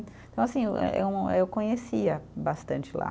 Então, assim, eh um eh, eu conhecia bastante lá.